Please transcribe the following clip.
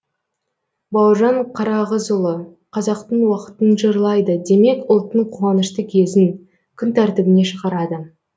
бауыржан қарағызұлы қазақтың уақытын жырлайды демек ұлттың қуанышты кезін күн тәртібіне шығарады